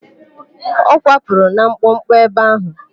Ọ kwapụrụ na mkpọkpọ ebe áhụ̀?